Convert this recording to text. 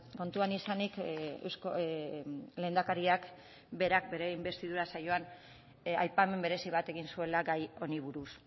kontuan izanik lehendakariak berak bere inbestidura saioan aipamen berezi bat egin zuela gai honi buruz